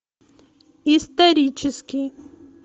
исторический